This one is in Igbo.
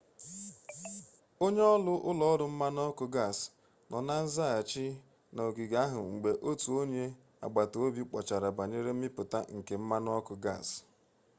onye-oru ulo-oru mmanu-oku gas no na nzaghachi na ogige ahu mgbe otu onye-agbata-obi kpochara banyere mmiputa nke mmanu-oku gas